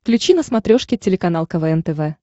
включи на смотрешке телеканал квн тв